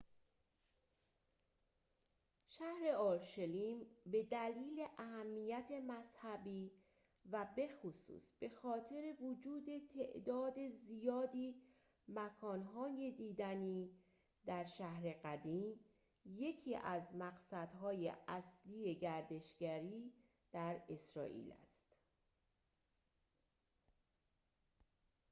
شهر اورشلیم به دلیل اهمیت مذهبی و بخصوص بخاطر وجود تعداد زیادی مکان‌های دیدنی در شهر قدیم یکی از مقصدهای اصلی گردشگری در اسرائیل است